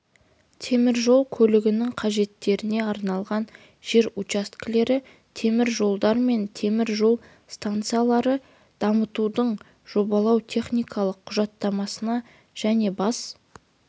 темір жол көлігінің қажеттеріне арналған жер учаскелері темір жолдар мен темір жол станцияларын дамытудың жобалау-техникалық құжаттамасына және бас